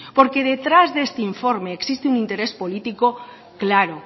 porque detrás de este informe existe un interés político claro